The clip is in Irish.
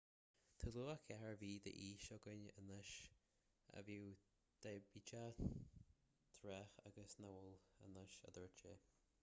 tá lucha 4 mhí d'aois againn anois a bhíodh diaibéiteach tráth ach nach bhfuil anois a dúirt sé